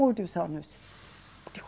Muitos anos.